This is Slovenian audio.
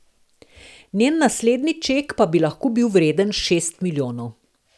Njen naslednji ček pa bi lahko bil vreden šest milijonov.